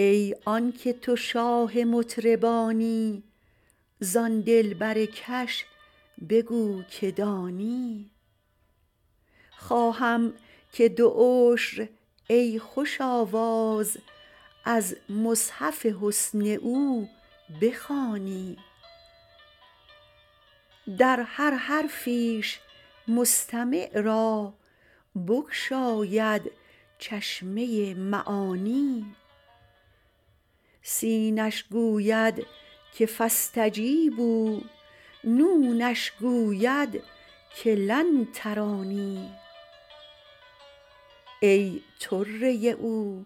ای آنک تو شاه مطربانی زان دلبرکش بگو که دانی خواهم که دو عشر ای خوش آواز از مصحف حسن او بخوانی در هر حرفیش مستمع را بگشاید چشمه معانی سینش گوید که فاستجیبوا نونش گوید که لن ترانی ای طره او